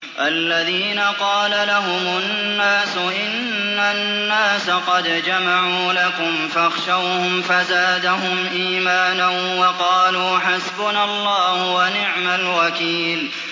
الَّذِينَ قَالَ لَهُمُ النَّاسُ إِنَّ النَّاسَ قَدْ جَمَعُوا لَكُمْ فَاخْشَوْهُمْ فَزَادَهُمْ إِيمَانًا وَقَالُوا حَسْبُنَا اللَّهُ وَنِعْمَ الْوَكِيلُ